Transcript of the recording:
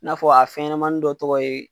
I n'a fɔ a fɛnɲɛnɛmanin dɔ tɔgɔ ye.